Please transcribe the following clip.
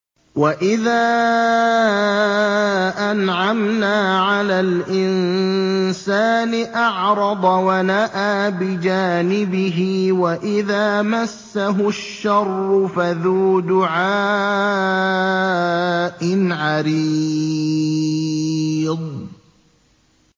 وَإِذَا أَنْعَمْنَا عَلَى الْإِنسَانِ أَعْرَضَ وَنَأَىٰ بِجَانِبِهِ وَإِذَا مَسَّهُ الشَّرُّ فَذُو دُعَاءٍ عَرِيضٍ